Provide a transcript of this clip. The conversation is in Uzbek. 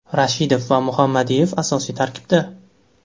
Rashidov va Muhammadiyev asosiy tarkibda.